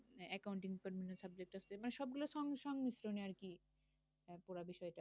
আহ accounting department এর subject আছে। মানে সবগুলো সঙ্গে সঙ্গে আরকি পুরা বিষয়টা।